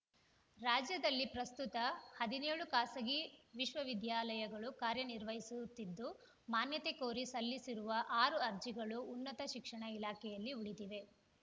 ರಾಜ್ಯದಲ್ಲಿ ಪ್ರಸ್ತುತ ಹದಿನ್ಯೋಳು ಖಾಸಗಿ ವಿಶ್ವವಿದ್ಯಾಲಯಗಳು ಕಾರ್ಯ ನಿರ್ವಹಿಸುತ್ತಿದ್ದು ಮಾನ್ಯತೆ ಕೋರಿ ಸಲ್ಲಿಸಿರುವ ಆರು ಅರ್ಜಿಗಳು ಉನ್ನತ ಶಿಕ್ಷಣ ಇಲಾಖೆಯಲ್ಲಿ ಉಳಿದಿವೆ